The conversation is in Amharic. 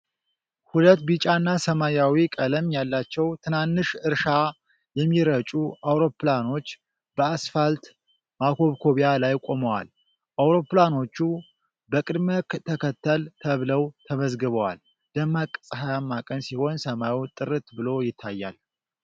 ሁለት ቢጫና ሰማያዊ ቀለም ያላቸው ትናንሽ እርሻ የሚረጩ አውሮፕላኖች በአስፋልት ማኮብኮቢያ ላይ ቆመዋል። አውሮፕላኖቹ በቅደም ተከተል ተብለው ተመዝግበዋል። ደማቅ ፀሐያማ ቀን ሲሆን ሰማዩ ጥርት ብሎ ይታያል።